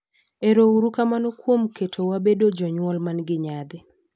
Ero uru kamano kuom keto wa bedo jonyuol man gi nyadhi.